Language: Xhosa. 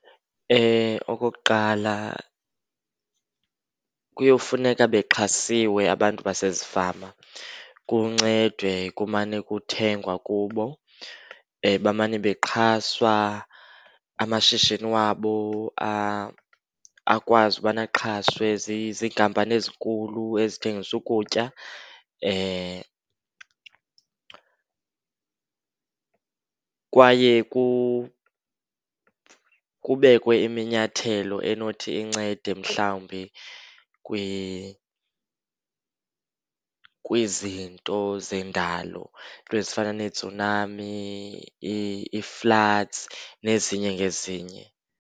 Okokuqala kuyowufuneka bexhasiwe abantu basezifama, kuncedwe kumane kuthengwa kubo. Bamane bexhaswa amashishini wabo akwazi ubana axhaswe ziinkampani ezinkulu ezithengisa ukutya. Kwaye kubekwe iminyathelo enothi incede mhlawumbi kwizinto zendalo, iinto ezifana neetsunami, ii-floods nezinye ngezinye.